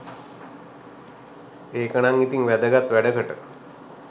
ඒකනං ඉතින් වැදගත් වැඩකට